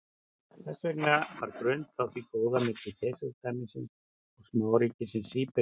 þess vegna var grunnt á því góða milli keisaradæmisins og smáríkisins serbíu